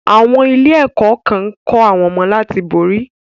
Àwọn ilé-ẹ̀kọ́ kan ń kọ́ àwọn ọmọdé láti borí.